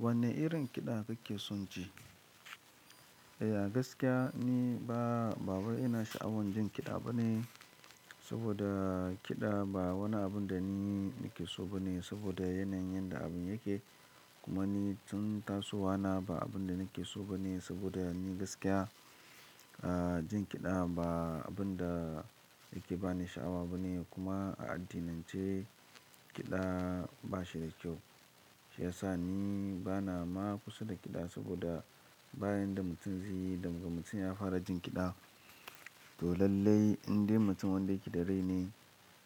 Wanne irin kiɗa kuke son ji? Eh, a gaskiya ni ba, ba wai ina sha'awar jin kiɗa ba ne saboda kiɗa ba wani abun da ni nake so ba ne saboda yanayin yadda abun yake. Kuma ni tun taso wana ba abun da nake so ba ne saboda ni gaskiya, ah, jin kiɗa ba abun da yake bani sha'awa ba ne. Kuma a addinance kiɗa ba shi da kyau. Shi ya sa ni bana ma kusa da kiɗa saboda bayan da mutum zai, danga mutum ya fara jin kiɗa, to lallai inda mutum wanda yake dare ne,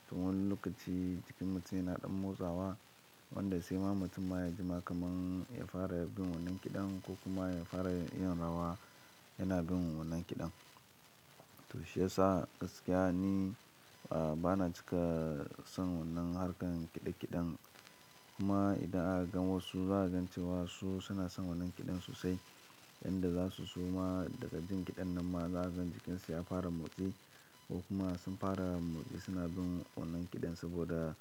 to wannan lokaci jikin mutum yana ɗan motsawa. Wanda sai ma mutum ma ya jima kamar ya fara bin wannan kiɗan ko kuma ya fara yin rawa yana bin wannan kiɗan. To shi ya sa gaskiya ni, ah, bana cika son wannan harkar kiɗe-kiɗen. Kuma idan aka gan wasu za a gan cewa su suna son wannan kiɗan sosai, wanda za su suma daga jin kiɗan nan ma za a gan jikinsa ya fara motsi ko kuma sun fara motsi suna bin wannan kiɗan saboda,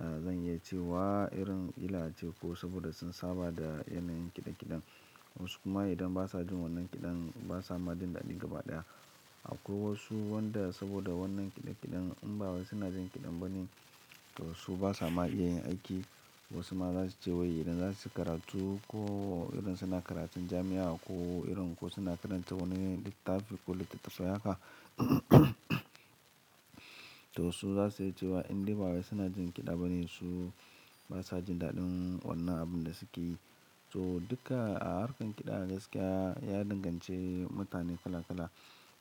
ah, bin zai cewa irin kila ace ko saboda sun saba da yanayin kiɗe-kiɗen. Wasu kuma idan ba sa jin wannan kiɗan ba sa ma jin daɗi gaba ɗaya. Akwai wasu wanda saboda wannan kiɗe-kiɗen in ba wai suna jin kiɗan ba ne, to su ba sa ma iya yin aiki. Wasu ma za su ce wai idan za su yi karatu ko irin suna karatun jami'a ko irin suna karanta wani littafi ko littattafai haka, to su za su iya cewa in dai ba wai suna jin kiɗa ba ne, su ba sa jin daɗin wannan abun da suke yi. To duka a harkar kiɗa gaskiya ya danganci mutane kala-kala.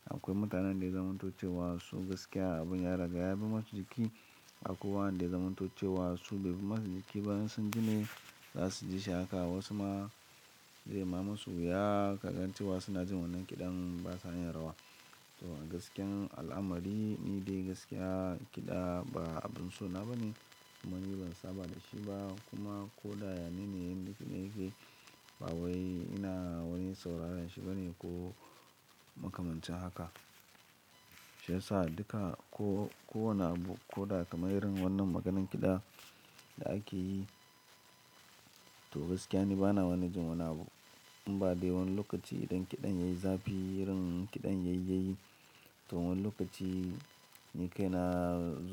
Akwai mutanen da ya zam to ce wa su gaskiya abun ya ragaya bai masu jiki. Akwai wanda zaamanto ce wa su bai bi masu jiki ba in sun ji ne za su ji shi haka. Wasu ma zai ma masu wuya kaga cei wa suna jin wannan kiɗan ba sa yin rawa. To a gaskiyar al'amari ni dai gaskiya kiɗa ba abun so na ba ne. Kuma ni ban saba da shi ba kuma ko da yanayin yadda yake ba wai ina wani sauraren shi ba ne ko makamancin haka. Shi ya sa duka ko, ko wane abu ko da kamar irin wannan maganan kiɗa da ake yi, to gaskiya ni bana wani jin wani abu. In ba dai wani lokaci idan kiɗan yayi zafi, irin kiɗan yayi yayi, to wannan lokaci ni kai na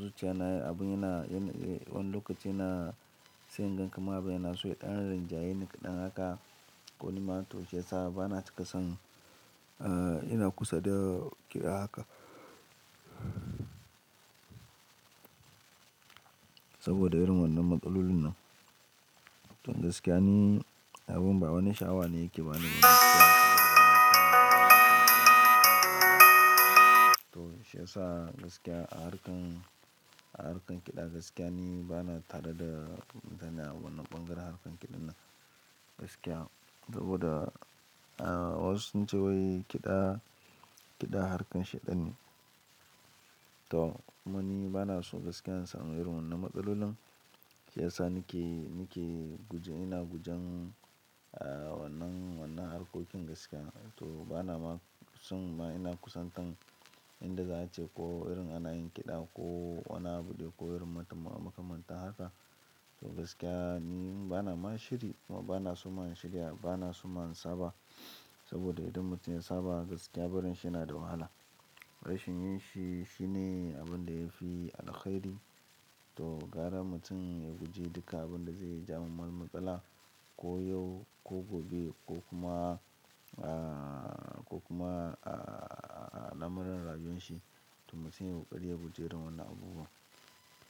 zuciya na, abun yana, yana, wani lokaci yana sa yan ganka ma bai yana so ya ɗan rinjaye ni kiɗan haka. Ko ni ma to shi ya sa bana cika son, ah, ina kusa da kiɗa haka saboda irin wannan matsalolin nan. To gaskiya ni abun ba wani sha'awa ne yake bani gaskiya saboda wannan kiɗa. To shi ya sa gaskiya a harkar, a harkar kiɗa gaskiya ni bana tada da zana wannan bangaren harkar kiɗan nan gaskiya saboda, ah, wasu sun ce wai kiɗa, kiɗa harkar sheɗan ne. To kuma ni bana so gaskiya in samu irin wannan matsalolin. Shi ya sa nake, nake guje, ina gujen, ah, wannan, wannan harkokin gaskiya. To bana ma son ma ina kusantar inda za a ce ko irin ana yin kiɗa ko wannan abu ne ko irin mutum a makamanta haka. To gaskiya ni bana ma shiri ko bana so ma yin shirya, bana so ma in saba saboda idan mutum ya saba gaskiya barinshi yana da wahala. Barin shi yin shi, shi ne abun da yafi alkhairi. To gara mutum ya guji duka abun da zai jawo wani matsala ko yau ko gobe ko kuma, ah, ko kuma, ah, na bangaren rayuwan shi. To mutum yana ƙarya guje irin wannan abubuwa.